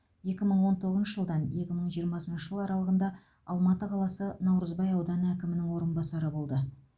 екі мың он тоғызыншы жылдан екі мың жиырмасыншы жыл аралығында алматы қаласы наурызбай ауданы әкімінің орынбасары болды